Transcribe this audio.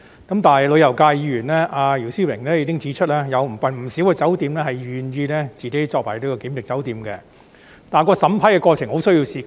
但是，旅遊界議員姚思榮已經指出，有不少酒店願意成為檢疫酒店，但審批過程需時很長。